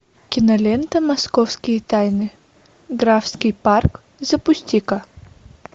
кинолента московские тайны графский парк запусти ка